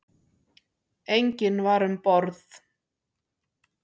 Enginn var um borð.